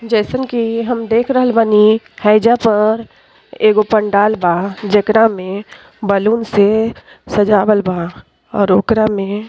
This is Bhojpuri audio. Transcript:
जइसन की हम देख रहल बानी हयेजा पर एगो पंडाल बा। जेकरा में बैलून से सजावल बा और ओकरा में --